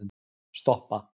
stoppa